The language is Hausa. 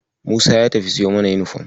Musa ya tafi siyo mana yunifom.